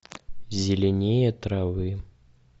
зеленее травы